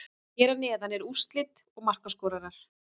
Hér að neðan eru úrslit og markaskorarar.